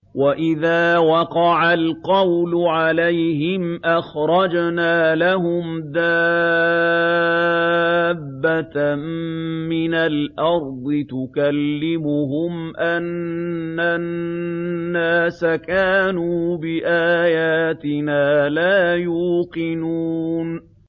۞ وَإِذَا وَقَعَ الْقَوْلُ عَلَيْهِمْ أَخْرَجْنَا لَهُمْ دَابَّةً مِّنَ الْأَرْضِ تُكَلِّمُهُمْ أَنَّ النَّاسَ كَانُوا بِآيَاتِنَا لَا يُوقِنُونَ